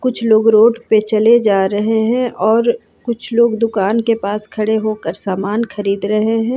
कुछ लोग रोड पे चले जा रहे हैं और कुछ लोग दुकान के पास खड़े होकर समान खरीद रहे हैं।